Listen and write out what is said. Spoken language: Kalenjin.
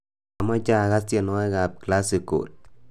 amoche agas tienywogikab classical